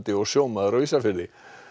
og sjómaður á Ísafirði